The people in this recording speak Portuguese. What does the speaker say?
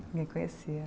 Ninguém conhecia